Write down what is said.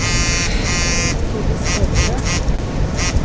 Tordis Øvrebø